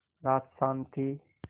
रात शान्त थी